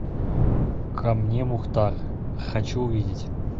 ко мне мухтар хочу увидеть